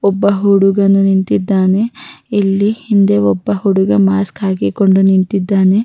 ಒಬ್ಬ ಹುಡುಗನು ನಿಂತಿದ್ದಾನೆ ಇಲ್ಲಿ ಹಿಂದೆ ಒಬ್ಬ ಹುಡುಗ ಮಾಸ್ಕ್ ಹಾಕಿಕೊಂಡು ನಿಂತಿದ್ದಾನೆ --